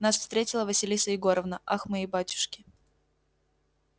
нас встретила василиса егоровна ах мои батюшки